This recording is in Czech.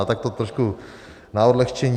Ale to bylo trošku na odlehčení.